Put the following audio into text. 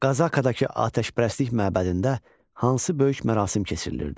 Qazakadakı atəşpərəstlik məbədində hansı böyük mərasim keçirilirdi?